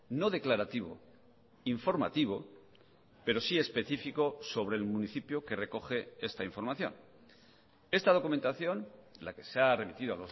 no declarativo informativo pero sí específico sobre el municipio que recoge esta información esta documentación la que se ha remitido